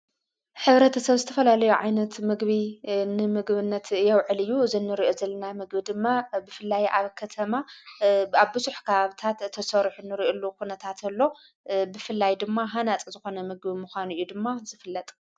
ኅብረተ ሰብ ዝተፈላለዮ ዓይነት ምግቢ ንምግብነት የውዕልዩ ዝንርኡ ዘለና ምግቢ ድማ ብፍላይ ዓብ ከተማ ኣብስሕካ ኣብታት ተሠርኁ ንርዑሉ ዂነታትሎ ብፍላይ ድማ ሓናጽ ዝኾነ ምግቢ ምዃኑእዩ ድማ ዝፍለጠ::